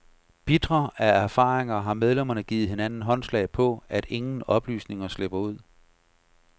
Bitre af erfaringer har medlemmerne givet hinanden håndslag på, at ingen oplysninger slipper ud.